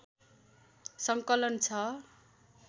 सङ्कलन छ